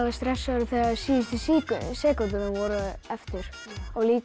stressaður þegar síðustu sekúndurnar voru eftir og líka